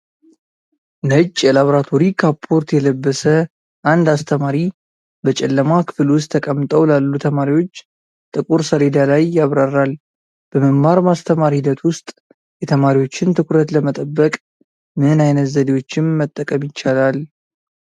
ነጭ የላብራቶሪ ካፖርት የለበሰ አንድ አስተማሪ በጨለማ ክፍል ውስጥ ተቀምጠው ላሉ ተማሪዎች ጥቁር ሰሌዳ ላይ ያብራራል። በመማር ማስተማር ሂደት ውስጥ የተማሪዎችን ትኩረት ለመጠበቅ ምን ዓይነት ዘዴዎችን መጠቀም ይቻላል?